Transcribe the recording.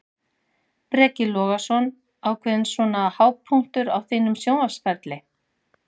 Breki Logason: Ákveðinn svona hápunktur á þínum sjónvarpsferli?